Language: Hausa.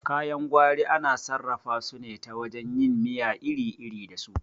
Kayan gwari ana sarrafa su ne ta wajen yin miya iri iri da su